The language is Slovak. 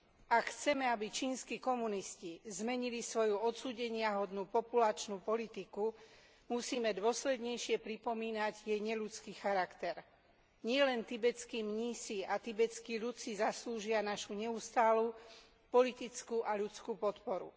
Ak chceme, aby čínski komunisti zmenili svoju odsúdeniahodnú populačnú politiku, musíme dôslednejšie pripomínať jej neľudský charakter. Nielen tibetskí mnísi a tibetský ľud si zaslúžia našu neustálu politickú a ľudskú podporu.